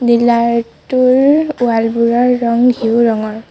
Dealer টোৰ ৱালবোৰৰ ৰং ঘিউ ৰঙৰ।